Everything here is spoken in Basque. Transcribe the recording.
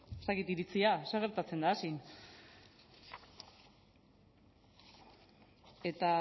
ez dakit iritzia zer gertatzen da hazin eta